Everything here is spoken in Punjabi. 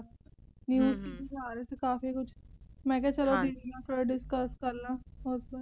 news ਚ ਦਿਖਾ ਰਹੇ ਸੀ ਕਾਫੀ ਕੁਝ ਹਾਂਜੀ ਮੈ ਕਿਹਾ ਚਲੋ ਦੀਦੀ ਨਾਲ ਥੋੜਾ discuss ਕਰਲਾ ਹੋਰ ਤਾਂ ਕੁਝ ਨਹੀਂ